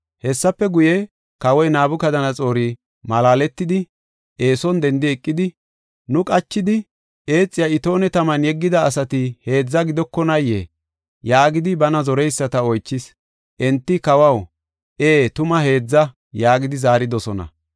Hessafe guye, kawoy Nabukadanaxoori malaaletidi, eeson dendi eqidi, “Nu qachidi eexiya itoone taman yeggida asati heedza gidokonaayee?” yaagidi bana zoreyisata oychis. Enti, “Kawaw, ee, tuma heedza” yaagidi zaaridosona.